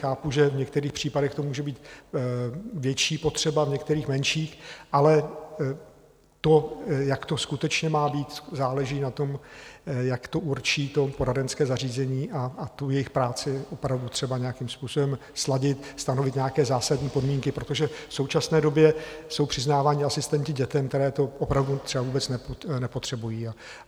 Chápu, že v některých případech to může být větší potřeba, v některých menší, ale to, jak to skutečně má být, záleží na tom, jak to určí to poradenské zařízení, a tu jejich práci opravdu třeba nějakým způsobem sladit, stanovit nějaké zásadní podmínky, protože v současné době jsou přiznáváni asistenti dětem, které to opravdu třeba vůbec nepotřebují.